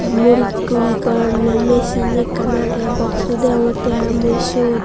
muris guri goronde michin ekkan age box su deongotte i mui siyot.